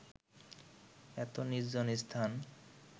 এত নির্জন স্থান